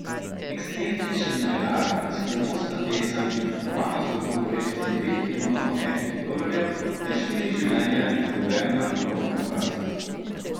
Ekscentrični milijonar, skrivnostna pesem, zakopano zlato v vrednosti dveh milijonov ameriških dolarjev ter štiri življenja, izgubljena v lovu na bogastvo.